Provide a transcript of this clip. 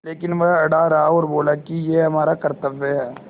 लेकिन वह अड़ा रहा और बोला कि यह हमारा कर्त्तव्य है